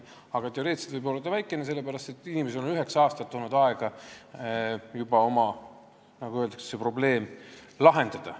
Aga teoreetiliselt võib see olla väikene, sellepärast et inimestel on juba üheksa aastat olnud aega see oma probleem lahendada.